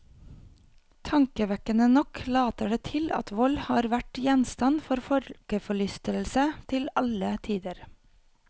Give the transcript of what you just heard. Tankevekkende nok later det til at vold har vært gjenstand for folkeforlystelse til alle tider.